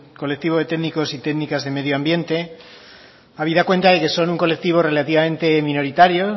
colectivo de técnicos y técnicas de medioambiente habida cuenta de que son un colectivo relativamente minoritario